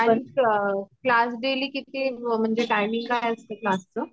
आह म्हणजे क्लास ची तीमिंग किती असते